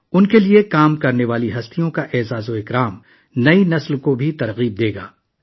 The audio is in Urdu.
ان کے لیے کام کرنے والی شخصیات کو عزت افزائی سے نئی نسل کو بھی حوصلہ ملے گا